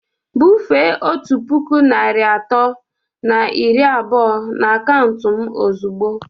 Bufee otu puku naịra atọ na iri abụọ na akaụntụ m ozugbo!